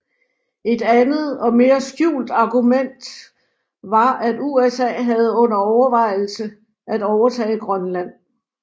Et andet og mere skjult argument var at USA havde under overvejelse at overtage Grønland